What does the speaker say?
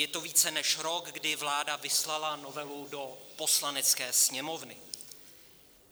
Je to více než rok, kdy vláda vyslala novelu do Poslanecké sněmovny.